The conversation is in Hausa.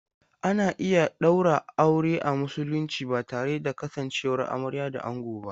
Ana iya ɗaura aure a Musulunci ba tare da kasancewar amarya da ango ba.